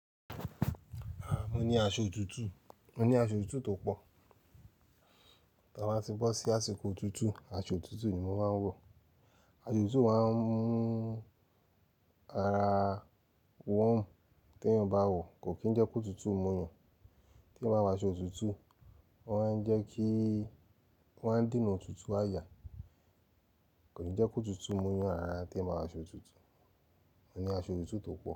Aah, mo ní aṣọ òtútù, mo ní aṣọ òtútù to pọ̀. Ta bá ti bọ́ sí àsìkò òtútù, aṣọ òtútù ni mo máa ń wọ̀. Aṣọ òtútù máa ń mú ara warm, tí èèyàn bá wọ̀, kò kí n jẹ́ kótútù mú yan, tí èèyàn bá wọ aṣọ òtútù, o má ń jẹ́ kí o máa n dènà òtútù àyà. Kò ní jẹ́ kótutu mú yan rara tí èèyàn bá wọ aṣọ òtútù. Mo ní aṣọ tuntun tó pọ̀